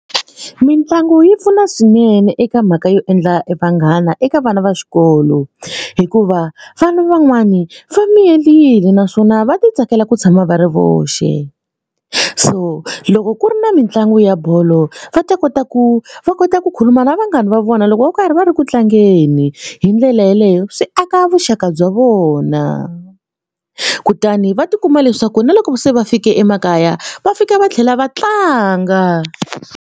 Mitlangu yi pfuna swinene eka mhaka yo endla vanghana eka vana va xikolo hikuva vana van'wani va miyelini naswona va titsakela ku tshama va ri voxe. So loko ku ri na mitlangu ya bolo va ta kota ku va kota ku khuluma na vanghana va vona loko va karhi va ri ku tlangeni. Hi ndlela yeleyo swi aka vuxaka bya vona kutani va tikuma leswaku na loko se va fike emakaya va fika va tlhela va tlanga.